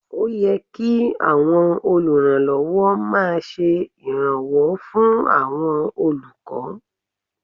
Ó yẹ kí àwọn olùrànlọ́wọ́ máa ṣe ìrànwọ́ fún àwọn olùkọ́